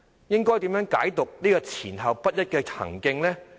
應該如何解讀這種前後不一的行徑？